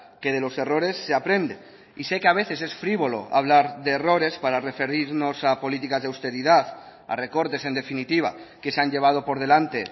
que de los errores se aprende y sé que a veces es frívolo hablar de errores para referirnos a políticas de austeridad a recortes en definitiva que se han llevado por delante